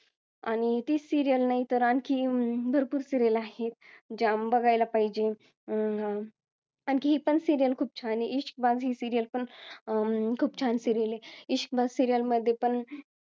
आणि ती serial नाही तर आणखी भरपूर serial आहे ज्या बघायला पाहिजे अं आणखी ही पण serial खूप छान आहे इश्कबाज serial पण खूप छान serial आहे इश्कबाज serial मध्ये पण